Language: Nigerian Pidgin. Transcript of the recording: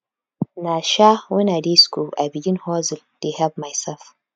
na um wen i dey skool i begin hustle dey help mysef